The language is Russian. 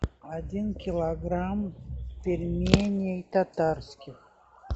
один килограмм пельменей татарских